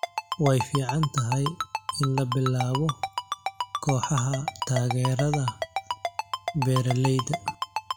Way fiican tahay in la bilaabo kooxaha taageerada beeralayda.